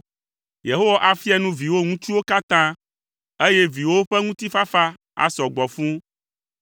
Yehowa afia nu viwò ŋutsuwo katã, eye viwòwo ƒe ŋutifafa asɔ gbɔ fũu.